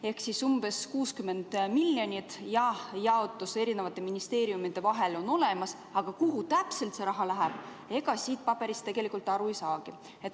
Ehk umbes 60 miljonit ja jaotus erinevate ministeeriumide vahel on olemas, aga kuhu täpselt see raha läheb, siit paberist tegelikult aru ei saagi.